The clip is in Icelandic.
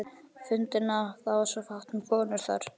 fundina, það var svo fátt um konur þar.